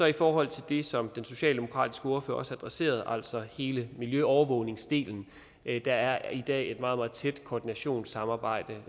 i forhold til det som den socialdemokratiske ordfører også adresserede altså hele miljøovervågningsdelen er der i dag et meget meget tæt koordinationssamarbejde